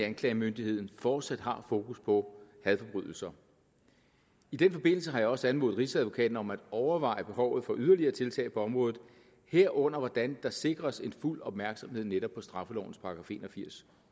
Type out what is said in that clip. anklagemyndigheden fortsat har fokus på hadforbrydelser i den forbindelse har jeg også anmodet rigsadvokaten om at overveje behovet for yderligere tiltag på området herunder hvordan der sikres en fuld opmærksomhed på netop straffelovens § en og firs